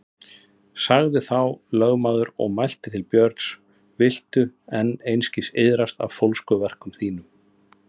Sagði þá lögmaður og mælti til Björns: Viltu enn einskis iðrast af fólskuverkum þínum?